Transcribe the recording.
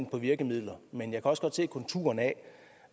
på virkemidler men jeg kan også godt se konturerne af